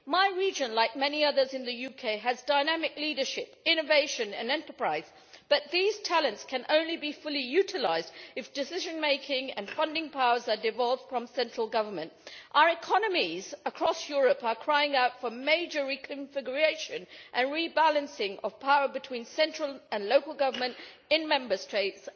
My region, like many others in the UK, has dynamic leadership, innovation and enterprise, but these talents can only be fully utilised if decision making and funding powers are devolved from central government. Our economies across Europe are crying out for major reconfiguration and rebalancing of power between central and local government in Member States.